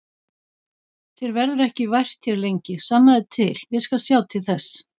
Þér verður ekki vært hér lengi, sannaðu til, ég skal sjá til þess